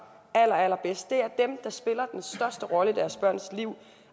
allerallerbedst det er dem der spiller den største rolle i deres børns liv